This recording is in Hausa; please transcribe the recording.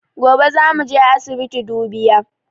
Gobe zamu je asibiti dubiya